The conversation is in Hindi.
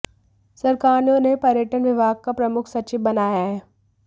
सरकार ने उन्हें पर्यटन विभाग का प्रमुख सचिव बनाया है